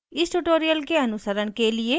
इस tutorial के अनुसरण के लिए